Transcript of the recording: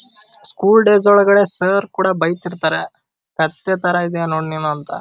School days ಒಳಗಡೆ sir ಕೂಡ ಬೈತಾ ಇರ್ತಾರೆ ಕತ್ತೆ ತರ ಇದ್ದೀಯ ನೋಡ್ ನೀನು ಅಂತ.